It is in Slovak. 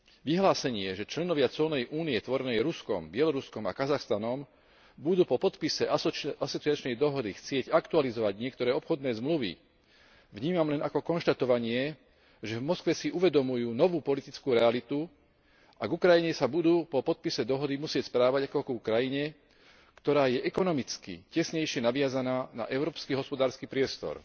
Vyhlásenie, že členovia colnej Únie tvorenej Ruskom, Bieloruskom a Kazachstanom budú po podpise asociačnej dohody chcieť aktualizovať niektoré obchodné zmluvy, vnímam len ako konštatovanie, že v Moskve si uvedomujú novú politickú realitu a k Ukrajine sa budú po podpise dohody musieť správať ako ku krajine, ktorá je ekonomicky tesnejšie naviazaná na európsky hospodársky priestor.